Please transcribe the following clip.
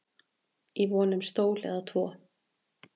í von um stól eða tvo